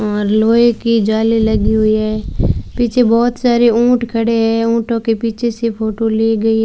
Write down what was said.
और लोहे की जाली लगी हुई है पीछे बहोत सारे ऊंट खड़े हैं ऊंटों के पीछे से फोटो ली गई--